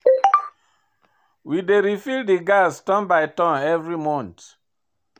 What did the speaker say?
We dey refill di gas turn by turn every month.